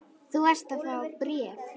Þú varst að fá bréf.